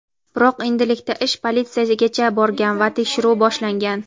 Biroq endilikda ish politsiyagacha borgan va tekshiruv boshlangan.